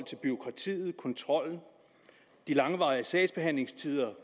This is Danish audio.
til bureaukratiet kontrollen de langvarige sagsbehandlingstider